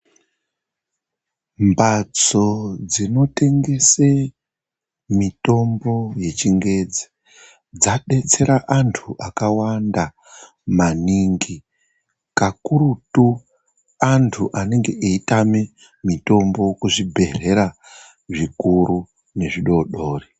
Mhatso dzinotengese mitombo yechingezi dzadetsera antu akawanda maningi kakurutu antu anenge eitame mitombo kuzvibhedhlera zvikuru nezvidori-dori.